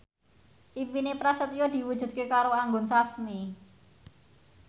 impine Prasetyo diwujudke karo Anggun Sasmi